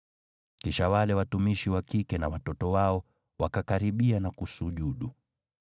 Kisha wale watumishi wa kike na watoto wao wakakaribia na kusujudu.